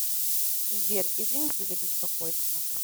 сбер извините за беспокойство